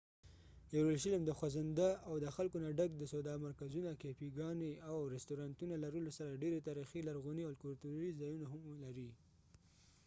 یروشلم د خوځنده او د خلکو نه ډک د سودا مرکزونه ،کېفی ګانی، او رستورانتونو لرلو سره ډیر تاریخی، لرغونی ،او کلتوری ځایونه ههم لري